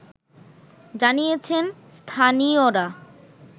জানিয়েছেন স্থানীয়রা